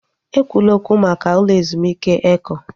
Ekwula okwu maka ụlọ ezumike Eko!